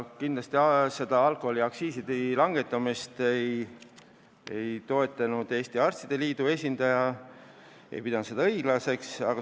Alkoholiaktsiiside langetamist ei toetanud Eesti Arstide Liidu esindaja, ta ei pidanud seda õigeks.